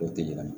O te yira